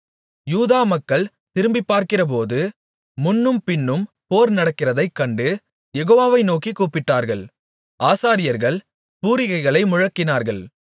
யூதா மக்கள் திரும்பிப்பார்க்கிறபோது முன்னும் பின்னும் போர் நடக்கிறதைக் கண்டு யெகோவாவை நோக்கிக் கூப்பிட்டார்கள் ஆசாரியர்கள் பூரிகைகளை முழக்கினார்கள்